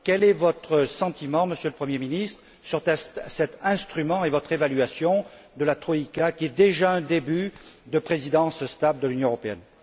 Quel est votre sentiment, Monsieur le Premier ministre, sur cet instrument et quelle est votre évaluation de la troïka, qui est déjà un début de Présidence stable de l'Union européenne?